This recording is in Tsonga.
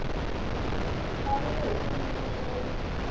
mfanelo hi xiyimo xa le